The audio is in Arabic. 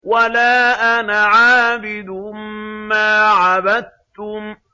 وَلَا أَنَا عَابِدٌ مَّا عَبَدتُّمْ